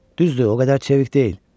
Düzdür, o qədər çevik deyil.